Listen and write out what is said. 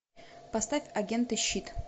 поставь агенты щит